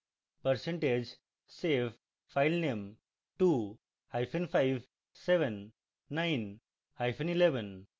percentage save filename 25 7 9 hyphen 11